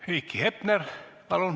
Heiki Hepner, palun!